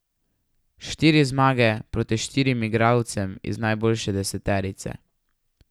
Štiri zmage proti štirim igralcem iz najboljše deseterice.